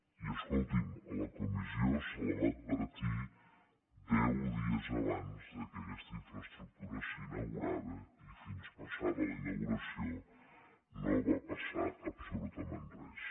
i escolti’m a la comissió se la va advertir deu dies abans que aquesta infraestructura s’inaugurava i fins passada la inauguració no va passar absolutament res